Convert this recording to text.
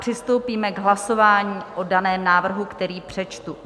Přistoupíme k hlasování o daném návrhu, který přečtu.